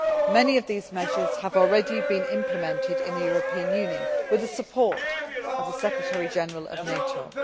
Many of these measures have already been implemented in the European Union with the support of the Secretary General of NATO.